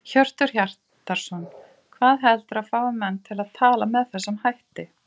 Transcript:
Hjörtur Hjartarson: Hvað heldurðu að fái menn til að tala með þessum hætti?